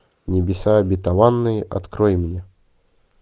небеса обетованные открой мне